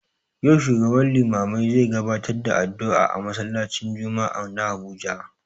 Yau shugaban limamai zai gabatar da addu'a a masallaci n jumma'ah na Abuja